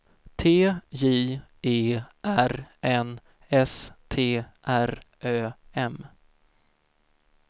T J E R N S T R Ö M